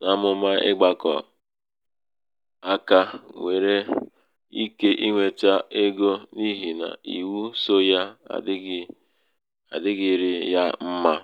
n’amụ̀mà ịgbakọ aka nwere ike iwètè egō n’ihì nà ìwu sō yā adị̄ghị̄rị̄ yā mmā.